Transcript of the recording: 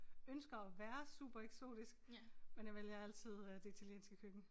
Ønsker at være supereksotisk men jeg vælger altid øh det italienske køkken